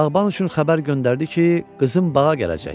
Bağban üçün xəbər göndərdi ki, qızım bağa gələcək.